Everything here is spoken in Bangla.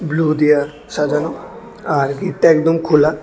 ব্লু দিয়া সাজানো আর গেটটা একদম খোলা।